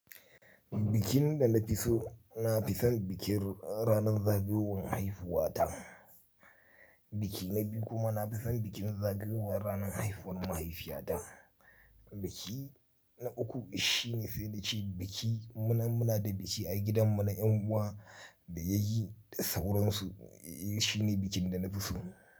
Bikin da na fi so, na fi son bikin ranar zagayowar haihuwa ta. Biki na biyu kuma na fi son bikin zagayowar ranar haihuwar mahaifiyata. Biki na uku shi ne sai da ce biki mu muna da biki a gidanmu na en uwa da yayi da sauransu shi ne bikin da na fi so.